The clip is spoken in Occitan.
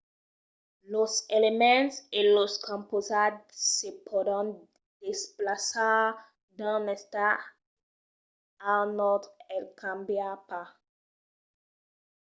los elements e los compausats se pòdon desplaçar d'un estat a un autre e cambiar pas